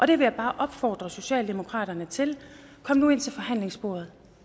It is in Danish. det vil jeg bare opfordre socialdemokratiet til kom nu ind til forhandlingsbordet